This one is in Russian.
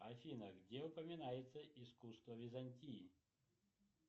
афина где упоминается искусство византии